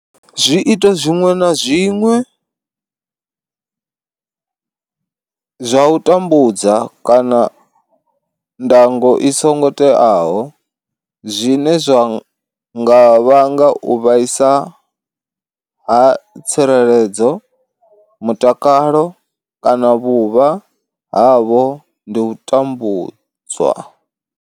Zwiito zwiṅwe na zwiṅwe zwa u tambudza kana ndango i songo teaho zwine zwa nga vhanga u vhaisa ha tsireledzo, mutakalo kana vhuvha havho ndi u tambudzwa.